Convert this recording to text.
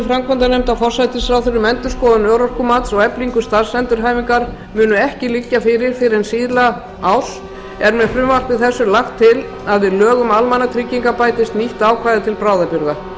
framkvæmdanefndar forsætisráðherra um endurskoðun örorkumats og eflingu starfsendurhæfingar munu ekki liggja fyrir fyrr en síðla árs er með frumvarpi þessu lagt til að við lög um almannatryggingar bætist nýtt ákvæði til bráðabirgða